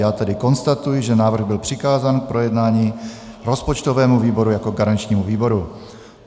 Já tedy konstatuji, že návrh byl přikázán k projednání rozpočtovému výboru jako garančnímu výboru.